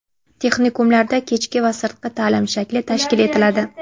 Texnikumlarda kechki va sirtqi ta’lim shakli tashkil etiladi.